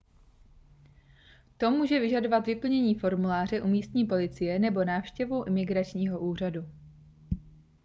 to může vyžadovat vyplnění formuláře u místní policie nebo návštěvu imigračního úřadu